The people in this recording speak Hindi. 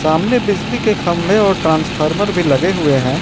सामने बिजली के खंबे और ट्रांसफार्मर भी लगे हुए हैं।